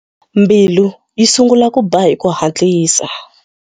Mbilu yi sungula ku ba hi ku hatlisa.